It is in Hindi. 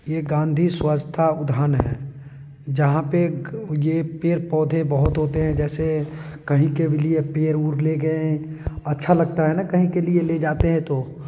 ये गांधी स्वच्छता उद्यान है जहाँ पे ये पेड़-पौधे बहुत होते हैं जैसे कहीं के लिए भी पेर उड़ ले गए है अच्छा लगता है ना कहीं के लिए जाते हैं तो--